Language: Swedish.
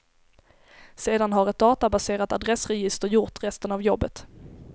Sedan har ett databaserat adressregister gjort resten av jobbet.